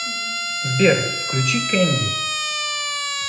сбер включи кэнди